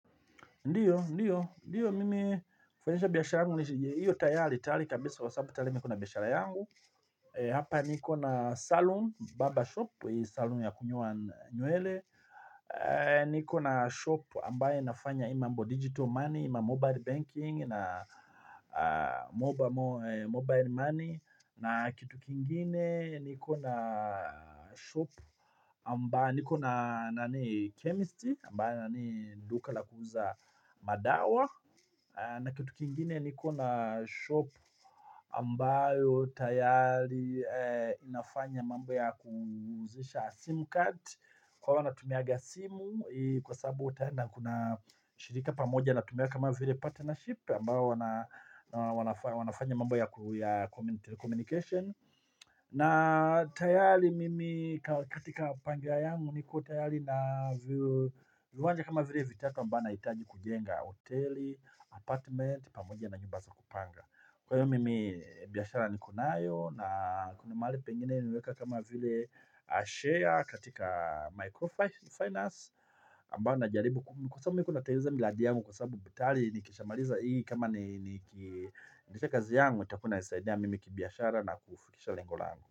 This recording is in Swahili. Ndiyo, ndiyo. Ndiyo, mimi kufanyisha biashara yangu. Iyo tayari, tayari kabisa kwa sababu, tayari mimi niko na biashara yangu. Hapa niko na saluni, barbershop, hii saluni ya kunyua nywele. Niko na shop ambaye inafanya hii mambo digital money, mamobile banking na, mobile money na kitu kingine. Niko na shop ambayo niko na chemistry ambayo nanii duka la kuuza, madawa, na kitu kingine niko na shop ambayo tayari inafanya mambao ya kuuzisha sim card kwa wanaotumiaga simu kwa sababu na kuna shirika pamoja na tumiaga kama vile partnership ambayo wanafanya mambo ya telecommunication. Na tayali mimi katika pangilia yangu nikotayari na viwanja kama vile vitatu ambao ninahitaji kujenga hoteli, apartment, pamoja na nyumba za kupanga. Kwa hiyo mimi biashara nikonayo na kunamahali pengine nimeweka kama vile share katika microfinance ambayo najaribu. Kwa sababu mimi nikonatengeneza miradi yangu kwa sababu tayari nikishamaliza hii kama nikikamilisha kazi yangu itakua inanisaidia mimi kibiashara na kufikisha lengo langu.